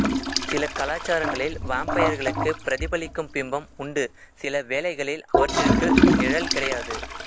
சில கலாசாரங்களில் வாம்பயர்களுக்கு பிரதிபலிக்கும் பிம்பம் உண்டு சில வேளைகளில் அவற்றிற்கு நிழல் கிடையாது